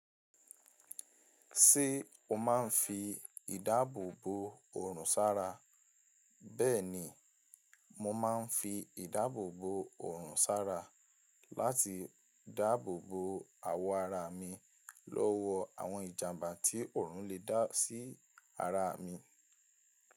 Ṣé o máa ń fi ìdáàbò bo òrùn sára? Bẹ́ẹ̀ni, mo máa ń fi ìdáàbò bo òrùn sára láti dáàbò bo awọ ara mi lọ́wọ́ àwọn ìjàmbá tí òrùn lè dá sí ara mi.